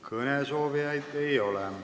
Kõnesoovijaid ei ole.